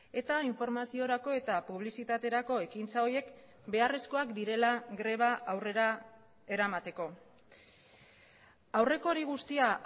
eta informaziorako eta publizitaterako ekintza horiek beharrezkoak direla greba aurrera eramateko aurreko hori guztia